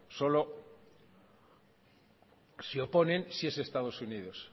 solo se oponen si es estados unidos